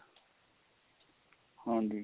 ਹਾਂਜੀ